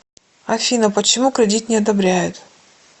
афина почему кредит не одобряют